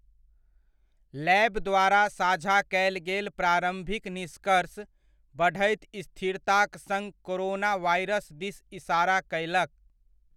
लैब द्वारा साझा कयल गेल प्रारम्भिक निष्कर्ष, बढ़ैत स्थिरताक सङ्ग कोरोना वायरस दिस इसारा कयलक।